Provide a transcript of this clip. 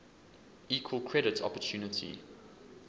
equal credit opportunity